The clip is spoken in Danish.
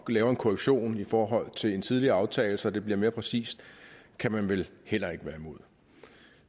vi laver en korrektion i forhold til en tidligere aftale så det bliver mere præcist kan man vel heller ikke være imod